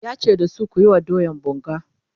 yace da su "kuyi wa doyan bunga!"